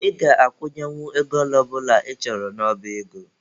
Ị ga-akwụnyenwu ego ole ọ bụla ị chọrọ n'oba ego.